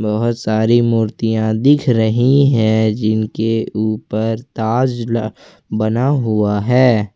बहोत सारी मूर्तियां दिख रही है जिनके ऊपर ताज ल बना हुआ है।